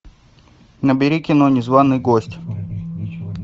набери кино незваный гость